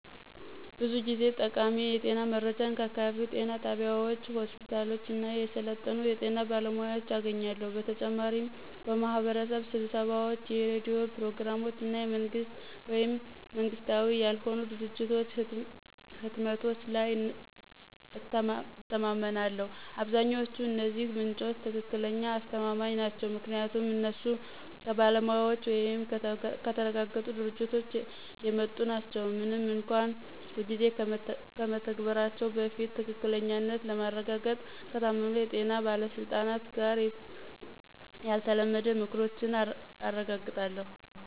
ብዙ ጊዜ ጠቃሚ የጤና መረጃን ከአካባቢው ጤና ጣቢያዎች፣ ሆስፒታሎች እና የሰለጠኑ የጤና ባለሙያዎች አገኛለሁ። በተጨማሪም በማህበረሰብ ስብሰባዎች፣ የሬዲዮ ፕሮግራሞች እና የመንግስት ወይም መንግሥታዊ ያልሆኑ ድርጅቶች ህትመቶች ላይ እተማመናለሁ። አብዛኛዎቹ እነዚህ ምንጮች ትክክለኛ አስተማማኝ ናቸው ምክንያቱም እነሱ ከባለሙያዎች ወይም ከተረጋገጡ ድርጅቶች የመጡ ናቸው፣ ምንም እንኳን ሁልጊዜ ከመተግበራቸው በፊት ትክክለኛነትን ለማረጋገጥ ከታመኑ የጤና ባለስልጣናት ጋር ያልተለመደ ምክሮችን አረጋግጣለሁ።